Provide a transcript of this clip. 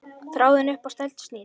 Þráðinn upp á snældu snýr.